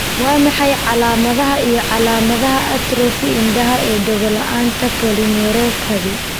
Waa maxay calaamadaha iyo calaamadaha atrophy indhaha ee dhego la'aanta polyneuropathy?